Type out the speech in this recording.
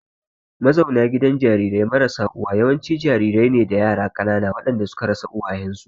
Mazauna gidan jarirai marasa uwa yawanci jarirai ne da yara ƙanana waɗanda suka rasa uwayensu.